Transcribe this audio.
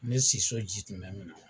Ne siso ji tun bɛ na.